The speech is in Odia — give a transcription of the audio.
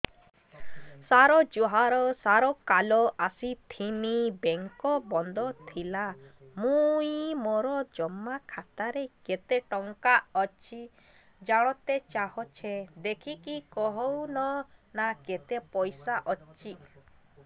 ସାର ଜୁହାର ସାର କାଲ ଆସିଥିନି ବେଙ୍କ ବନ୍ଦ ଥିଲା ମୁଇଁ ମୋର ଜମା ଖାତାରେ କେତେ ଟଙ୍କା ଅଛି ଜାଣତେ ଚାହୁଁଛେ ଦେଖିକି କହୁନ ନା କେତ ପଇସା ଅଛି